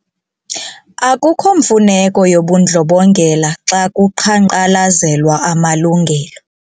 Akukho mfuneko yobundlobongela xa kuqhankqalazelwa amalungelo.